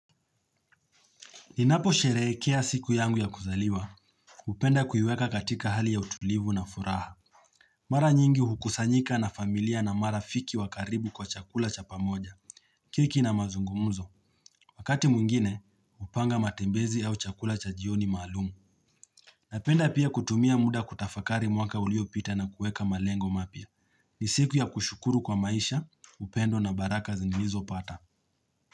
Ninaposherehekea siku yangu ya kuzaliwa. Hupenda kuiweka katika hali ya utulivu na furaha. Mara nyingi hukusanyika na familia na marafiki wa karibu kwa chakula cha pamoja. Kiki na mazungumuzo. Wakati mwingine hupanga matembezi au chakula cha jioni maalum. Napenda pia kutumia muda kutafakari mwaka uliopita na kuweka malengo mapya. Ni siku ya kushukuru kwa maisha. Upendo na baraka zilizopata.